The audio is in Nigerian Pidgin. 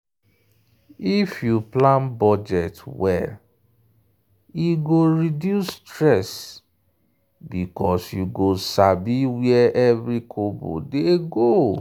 if you plan budget well e go reduce stress because you go sabi where every kobo dey go.